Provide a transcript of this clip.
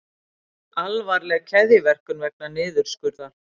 Alvarleg keðjuverkun vegna niðurskurðar